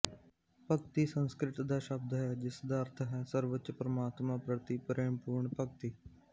ਭਕਤਿ ਸੰਸਕ੍ਰਿਤ ਦਾ ਸ਼ਬਦ ਹੈ ਜਿਸਦਾ ਅਰਥ ਹੈ ਸਰਵਉੱਚ ਪਰਮਾਤਮਾ ਪ੍ਰਤੀ ਪ੍ਰੇਮਪੂਰਣ ਭਗਤੀ